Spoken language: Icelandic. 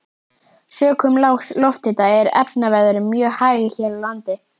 Sökum lágs lofthita er efnaveðrun mjög hæg hér á landi.